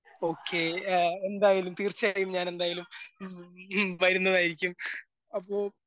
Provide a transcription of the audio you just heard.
okay എ എന്തയാലും തീർച്ചയായും ഞാനെന്തായാലും ഉം വരുന്നതായിരിക്കും അപ്പൊ